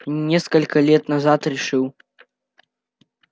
несколько лет назад решил